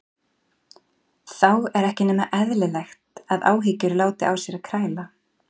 Þá er ekki nema eðlilegt að áhyggjur láti á sér kræla.